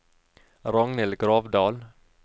Ragnhild Gravdal